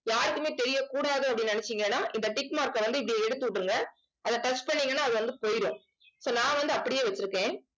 யாருக்குமே தெரியக்கூடாது அப்படின்னு நினைச்சீங்கன்னா இந்த tick mark அ வந்து இப்படி எடுத்து விட்டுருங்க. அதை touch பண்ணீங்கன்னா அது வந்து போயிடும் so நான் வந்து அப்படியே வச்சிருக்கேன்